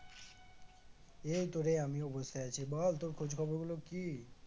এই তো রে আমিও বসে আছি, বল তোর খোঁজ খবর গুলো কি?